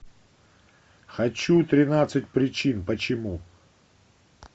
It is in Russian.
хочу тринадцать причин почему